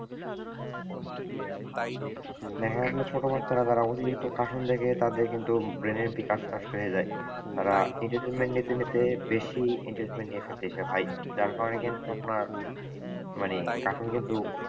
দেখা গেছে ছোট বাচ্চারা যারা অতিরিক্ত cartoon দেখে তাদের কিন্তু brain এর বিকাশ নষ্ট হয়ে যায়। তারা entertainment নিতে নিতে বেশি entertainment নিয়ে ফেলতেছে ভাই যার কারণে কিন্তু আপনার মানে cartoon কিন্তু,